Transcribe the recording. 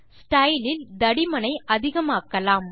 style இல் தடிமனை அதிகமாக்கலாம்